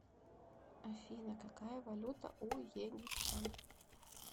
афина какая валюта у египтян